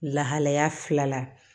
Lahalaya fila la